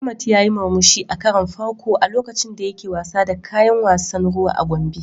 Ahmad yayi murmushi a karon farko a lokacin da yake wasa da kayan wasan ruwa a Gombe.